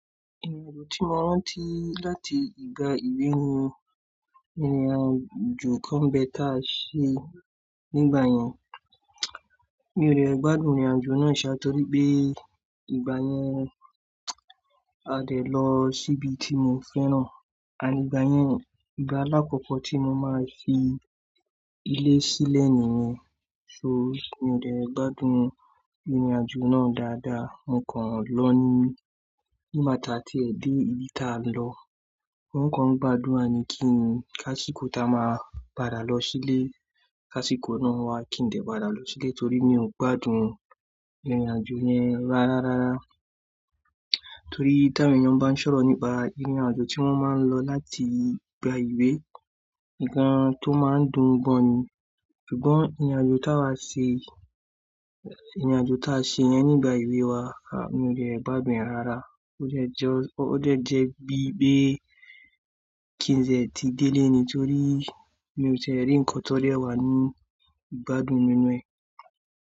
Ìrìnàjò tí mo rántí láti ìgbà ìwé mi, ní ku kan bẹ́ ta ṣe nígbà yẹn. Mi ò dè gbádùn ìrìnàjò náà ṣá, torí pé ìgbà yẹn a dẹ̀ lọ síbi tí mo fẹ́ràn, a nígbà yẹn ìgbà alákọ́kọ́ tí mo máa fi ilé sílẹ̀ nìyẹn. So mi ò dè gbádùn ìrìnàjò náà dáadáa. Mo kọ́ ló ní nígbà tí a ti ẹ dé ibi tá a lọ, mo kan gbàdúrà ni kí kásíkó tá a máa padà lọ sílé. K'ásíkó náà wá kí n dẹ̀ padà lọ sílé torí mi ò gbádùn ìrìnàjò yẹn rárá. Torí táwọn èèyàn bá ń sọ̀rọ̀ nípa ìrìnàjò tí wọ́n máa lọ láti ìgbà ìwé, nǹkan tó máa ń dùn gbọ́ ni. Ṣùgbọ́n ìrìnàjò tá wa ṣe, ìrìnàjò táa ṣe yẹn nígbà ewé wa, a mi ò dè gbádùn ẹ rárá. Ó dẹ̀ jọ, ó dẹ̀ jẹ́ bíi pé kí n ṣe ẹ́ ti délé ni, torí mi ò tẹ̀ rí ǹkan tó rẹwà nínú ìgbádùn nínú ẹ.